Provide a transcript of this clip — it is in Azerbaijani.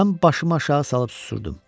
Mən başımı aşağı salıb susurdum.